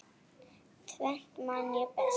Tvennt man ég best.